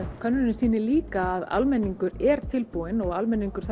könnunin sýnir líka að almenningur er tilbúinn og almenningur